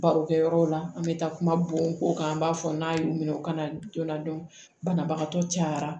Barokɛ yɔrɔ la an bɛ taa kuma bon ko kan an b'a fɔ n'a y'u minɛ u kana jol'a la banabagatɔ cayara